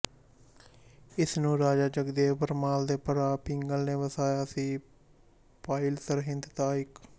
ਇਸ ਨੂੰ ਰਾਜਾ ਜਗਦੇਵ ਪਰਮਾਰ ਦੇ ਭਰਾ ਪਿੰਗਲ ਨੇ ਵਸਾਇਆ ਸੀ ਪਾਈਲ ਸਰਹਿੰਦ ਦਾ ਇੱਕ